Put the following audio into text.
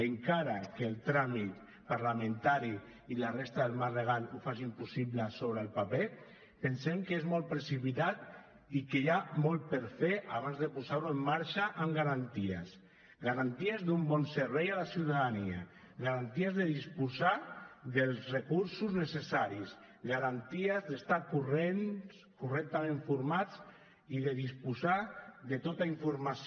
encara que el tràmit parlamentari i la resta del marc legal ho facin possible sobre el paper pensem que és molt precipitat i que hi ha molt per fer abans de posar ho en marxa amb garanties garanties d’un bon servei a la ciutadania garanties de disposar dels recursos necessaris garanties d’estar correctament formats i de disposar de tota informació